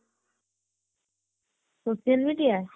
social media